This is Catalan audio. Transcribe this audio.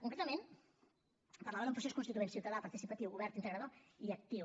concretament parlava d’un procés constituent ciutadà participatiu obert integrador i actiu